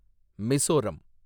Mizoram